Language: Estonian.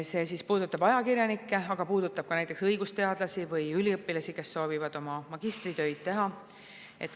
See puudutab ajakirjanikke, aga puudutab ka näiteks õigusteadlasi või üliõpilasi, kes soovivad oma magistritöid teha.